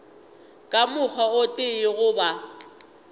ka mokgwa o tee goba